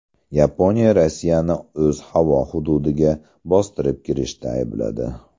Yaponiya Rossiyani o‘z havo hududiga bostirib kirishda aybladi.